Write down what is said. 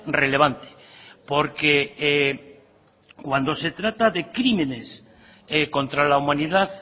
relevante porque cuando se trata de crímenes contra la humanidad